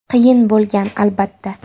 Qiyin bo‘lgan, albatta.